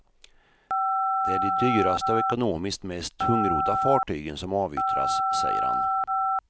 Det är de dyraste och ekonomiskt mest tungrodda fartygen som avyttras, säger han.